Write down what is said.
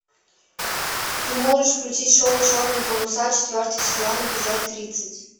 ты можешь включить шоу черные паруса четвертый сезон эпизод тридцать